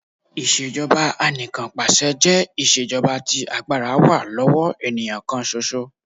Ìṣèjọba Anìkanpàṣẹ jẹ́ iṣẹ́ jọba tí agbára wá lọ́wọ́ ènìyàn kàn ṣoṣo.